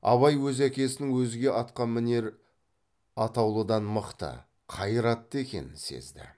абай өз әкесінің өзге атқамінер атаулыдан мықты қайратты екенін сезді